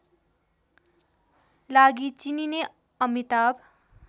लागि चिनिने अमिताभ